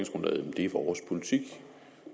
er vores politik